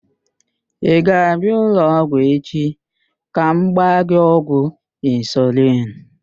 Ị ga-abịa ụlọọgwụ echi ka m gbaa gị ọgwụ insulin?